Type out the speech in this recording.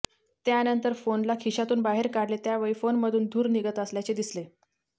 त्यानंतर फोनला खिशातून बाहेर काढले त्यावेळी फोनमधून धूर निघत असल्याचे दिसले